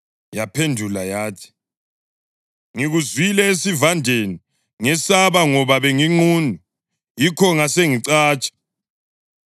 Yaphendula yathi, “Ngikuzwile esivandeni, ngesaba ngoba benginqunu; yikho ngasengicatsha.”